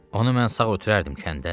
Onu mən sağ ötürərdim kəndə?